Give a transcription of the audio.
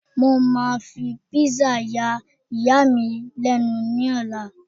mo ma fi pizza ya iya mi lẹnu ni ọlá